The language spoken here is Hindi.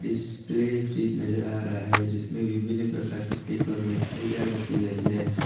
इस प्ले फ्रिज नजर आ रहा है जिसमें विभिन्न प्रकार के केक और मिठाइयां रखी गई है।